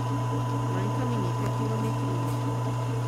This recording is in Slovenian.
Manjka mi nekaj kilometrine.